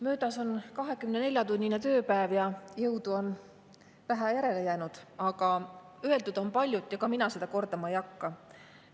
Möödas on 24‑tunnine tööpäev ja jõudu on vähe järele jäänud, aga öeldud on palju ja mina seda kordama ei hakka.